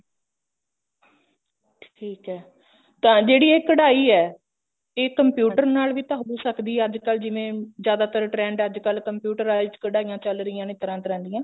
ਠੀਕ ਐ ਤਾਂ ਜਿਹੜੀ ਇਹ ਕਢਾਈ ਹੈ ਇਹ computer ਨਾਲ ਵੀ ਤਾਂ ਹੋ ਸਕਦੀ ਐ ਅੱਜਕਲ ਜਿਵੇਂ ਜਿਆਦਾਤਰ trend ਅੱਜਕਲ computerized ਕਢਾਈਆਂ ਚੱਲ ਰਹੀਆਂ ਨੇ ਤਰ੍ਹਾਂ ਤਰ੍ਹਾਂ ਦੀਆਂ